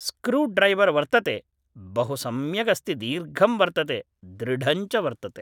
screwdriver वर्तते, बहु सम्यगस्ति दीर्घं वर्तते, दृढञ्च वर्तते